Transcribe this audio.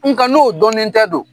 Nga n'o dɔnnen tɛ dun?